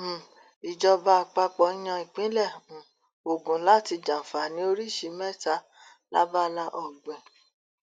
um ìjọba àpapọ yan ìpínlẹ um ogun láti jàǹfààní oríṣìí mẹta lábala ọgbìn